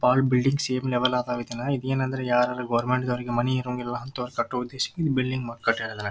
ಪಾಳ building same level ಅದ್ವ್ ಇದನ್ ಇದೇನಂದ್ರೆ ಯಾರರ್ ಗೊವೆರ್ಮೆಂಟ್ ದವರಿಗೆ ಮನಿ ಇರೋಂಗಿಲ್ಲಾ ಅಂತ ಈ ಬಿಲ್ಡಿಂಗ್ ಕಟ್ಟ್ಯಾರ್ ಇದನ್ನ.